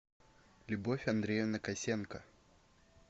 любовь андреевна косенко